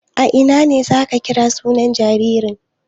A ina ne za a kira sunan jaririn?